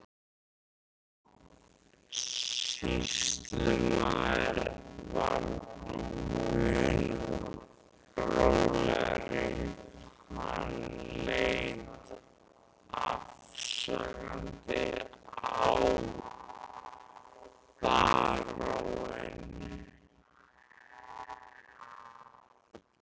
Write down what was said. Guðlaugur sýslumaður var mun rólegri, hann leit afsakandi á baróninn.